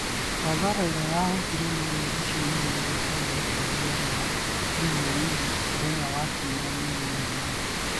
hathara ĩrĩa yahutirio meri icio inya iria ciarĩ rũteereinĩ rwa UAE mũthenya wa Kiumia nĩ nini mũno.